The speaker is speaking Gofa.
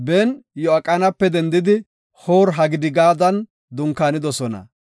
Ben-Ya7iqanape dendidi Hoor-Hagidigaadan dunkaanidosona.